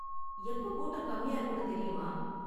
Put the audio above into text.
எப்ப கூட்டம் கம்மியா இருக்கும்னு தெரியுமா?